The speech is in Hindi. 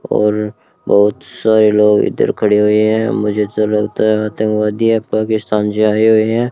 और बहोत सारे लोग इधर खड़ी हुई है मुझे ऐसा लगता है आतंकवादी है पाकिस्तान से आए हुए हैं।